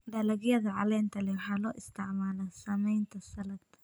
Dalagyada caleenta leh waxaa loo isticmaalaa sameynta saladh.